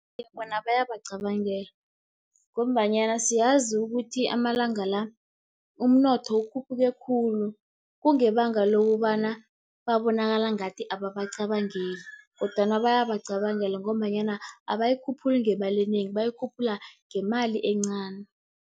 Bona bayabacabangela, ngombanyana siyazi ukuthi amalanga la, umnotho ukhuphuke khulu. Kungebanga lokobana babonakala ngathi ababacabangeli, kodwana bayabacabangela, ngombanyana abayikhuphuli ngemali enengi, bayikhuphula ngemali encani.